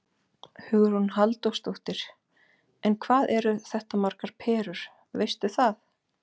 Hugrún Halldórsdóttir: En hvað eru þetta margar perur, veistu það?